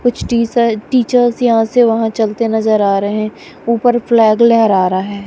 कुछ teacher teachers यहां से वहां चलते नजर आ रहे हैं ऊपर फ्लैग लहरा रहा है।